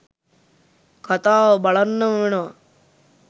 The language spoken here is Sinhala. කතාව බලන්නම වෙනවා.